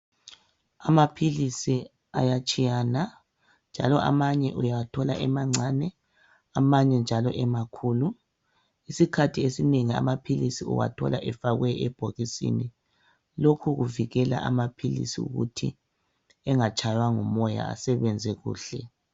Amaphilisi ayatshiyana njalo amanye uyawathola emancane amanye njalo emakhulu. Isikhathi esinengi amaphilisi uwathola efakwe ebhokisini. Lokhu kuvikela amaphilisi ukuthi engatshaywa ngumoya asebenze kuhle.